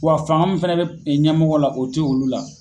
Wa fanga fana bɛ ɲɛmɔgɔ la o tɛ olu la.